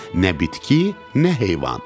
Nə bitki, nə heyvan.